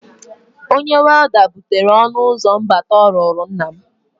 Onye welda butere ọnụụzọ mbata ọ rụrụ nna m.